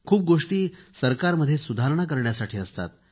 खूप गोष्टी सरकारमध्ये सुधारणा करण्यासाठी असतात